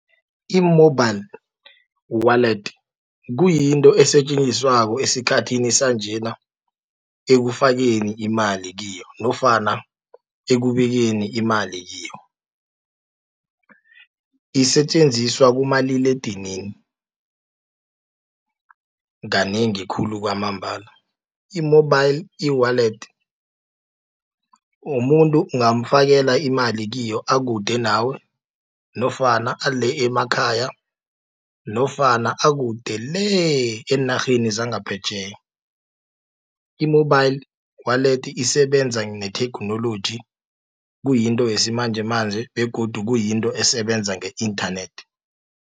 I-mobile wallet, kuyinto esetjenziswako esikhathini sanjena, ekufakeni imali kiyo, nofana ekubekeni imali kiyo. Isetjenziswa kumaliledinini, kanengi khulu kwamambala. I-mobile e-wallet, umuntu ungamfakela imali kiyo akude nawe, nofana ale emakhaya, nofana akude le, eenarheni zangaphetjheya. I-mobile wallet isebenza netheknoloji kuyinto yesimanjemanje, begodu kuyinto esebenza nge-internet.